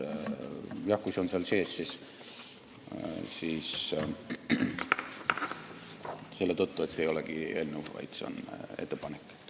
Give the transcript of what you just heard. Jah, kui see on siin sees, siis selle tõttu, et see ei ole eelnõu, vaid ettepanek.